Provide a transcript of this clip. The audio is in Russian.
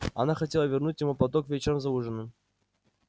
она хотела вернуть ему платок вечером за ужином